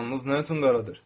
Qanınız nə üçün qaradır?